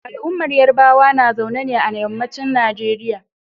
Al'ummar Yarbawa na zaune ne a yammacin Nigeria.